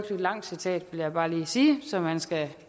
langt citat vil jeg bare lige sige så man skal